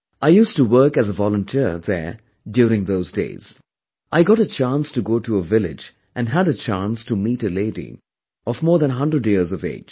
I used to work as avolunteer there during those days, I got a chance to go to a village and had a chance to meet a lady of more than a hundred years of age